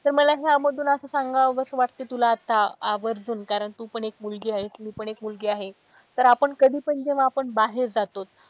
तर मला ह्या मधून असं सांगावस वाटत तुला आत्ता आवर्जून कारण तू पण एक मुलगी आहेस मी पण एक मुलगी आहे तर आपण कधी पण जेव्हा आपण बाहेर जातो.